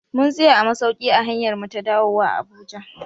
Mun tsaya a masauki a hanyarmu ta dawuwa a Abuja